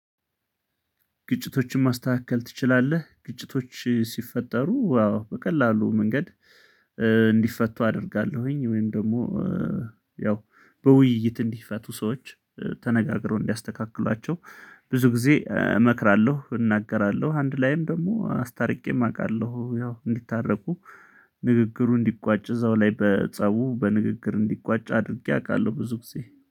ግጭቶችን ማስተካከል ትችላለህ? ግጭቶች ሲፈጠሩ አው በቀላሉ መንገድ እንዲፈቱ አደርጋለሁኝ ወይም ደግሞ ያው በውይይት እንዲፈቱ ሰዎች ተነጋግረው እንዲያስተካክሏቸው ብዙ ጊዜ እመክራለሁ እናገራለሁ አንድ ላይም ደግሞ አስታርቄም አውቃለሁ ያው እንዲታረቁ ንግግሩ እንዲቋጭ እዛው ላይ በጸቡ በንግግር እንዲቋጭ አድርጌ አውቃለሁ ብዙ ጊዜ